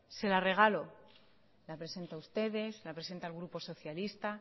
se la regalo la presenta ustedes la presenta el grupo socialista